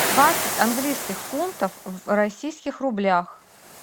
двадцать английских фунтов в российских рублях